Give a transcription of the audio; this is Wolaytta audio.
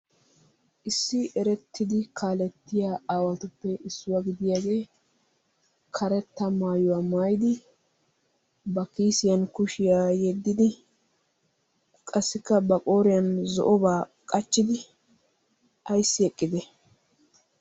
Issi erettidi kaalletiyaa aawatuppe issuwaa gidiyaage karetta maayyuwa maayyidi ba kiisiyan kushiyaa yedidi qassikka ba qoriyaan zo'oba qachchidi ayssi eqqide?